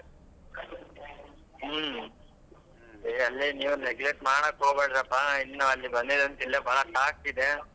ಹ್ಮ್ ಅಲ್ಲಿ ಏನ್ neglect ಮಾಡಾಕ್ ಹೋಗ್ಬೇಡಪಾ ಇನ್ನಾ ಅಲ್ಲಿ ಬಂದಿದೇ ಅಂತ ಬಹಳಷ್ಟು ಆಗ್ತಿದೆ.